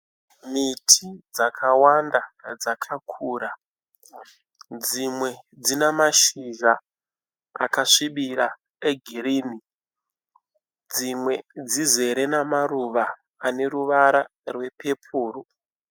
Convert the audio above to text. Miti dzakawanda dzakakura. Dzimwe dzina mashizha akasvibira egirini. Dzimwe dzizere namaruva ane ruvara rwepepuru.